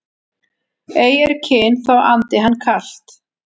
Ei er kyn þó andi hann kalt